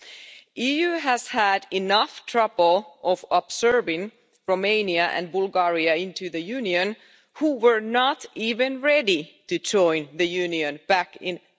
The EU has had enough trouble in absorbing Romania and Bulgaria into the Union, who were not even ready to join the Union back in